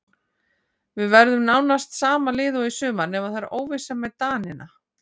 Við verðum með nánast sama lið og í sumar nema það er óvissa með Danina.